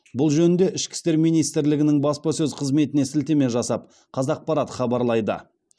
бұл жөнінде ішкі істер министрлігінің баспасөз қызметіне сілтеме жасап қазақпарат хабарлайды